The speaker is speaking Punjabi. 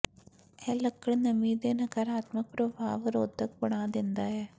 ਇਹ ਲੱਕੜ ਨਮੀ ਦੇ ਨਕਾਰਾਤਮਕ ਪ੍ਰਭਾਵ ਰੋਧਕ ਬਣਾ ਦਿੰਦਾ ਹੈ